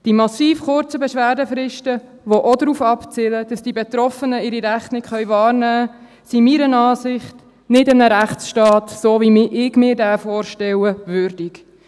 Die massiv kurzen Beschwerdefristen, die ebenfalls darauf abzielen, dass die Betroffenen ihre Rechte nicht wahrnehmen können, sind meiner Meinung nach eines Rechtsstaats, so wie ich ihn mir vorstelle, nicht würdig.